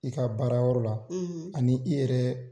I ka baara yɔrɔ la, ani i yɛrɛ